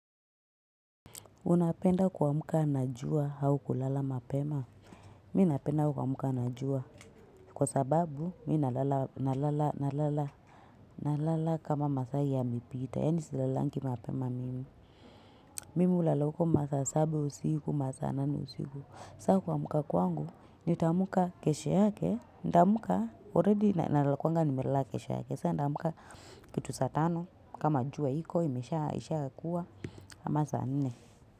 Unapenda kuamka na jua au kulala mapema. Mi napenda kuamka na jua. Kwa sababu mi nalala nalala nalala. Nalala kama masaa yamepita. Yaani silalangi mapema mimi. Mimi hulala huko masaa saba usiku, masaa nane usiku. Sa kuamka kwangu, nitaamka kesho yake. Ndaamka, already nalala nakuanga nimelala kesho yake. Sa ndaamka kitu saa tano. Kama jua iko, imesha ishakuwa. Ama saa nne.